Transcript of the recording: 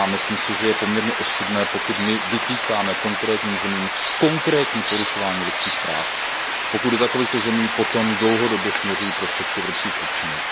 Myslím si, že je poměrně ostudné, pokud my vytýkáme konkrétním zemím konkrétní porušování lidských práv a pokud do takovýchto zemí potom dlouhodobě směřují prostředky evropských občanů.